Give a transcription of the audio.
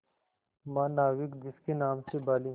महानाविक जिसके नाम से बाली